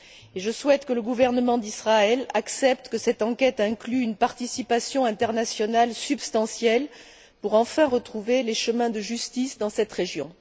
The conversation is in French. Et je souhaite que le gouvernement d'Israël accepte que cette enquête inclue une participation internationale substantielle pour enfin retrouver les chemins de justice dans cette région.